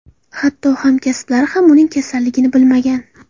Hatto hamkasblari ham uning kasalligini bilmagan.